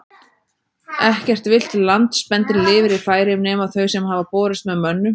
Ekkert villt landspendýr lifir í Færeyjum nema þau sem hafa borist með mönnum.